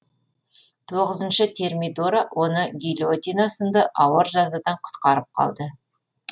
тоғызыншы термидора оны гильотина сынды ауыр жазадан құтқарып қалды